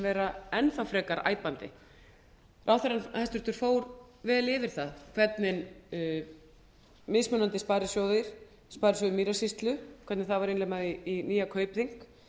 vera enn þá frekar æpandi hæstvirtur ráðherra fór mjög vel yfir það hvernig mismunandi sparisjóðir sparisjóður mýrasýslu hvernig það var eiginlega með nýja kaupþing